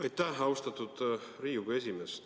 Aitäh, austatud Riigikogu esimees!